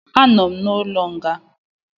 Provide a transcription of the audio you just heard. Anọ m n'ụlọ nga